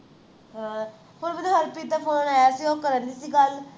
ਹਾਂ ਹੁਣ ਮੈਨੂੰ ਹਰਪ੍ਰੀਤ ਦਾ phone ਆਯਾ ਸੀ ਉਹ ਕਰ ਰਹੀ ਸੀ ਗੱਲ